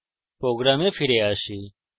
এখন আমাদের program ফিরে আসি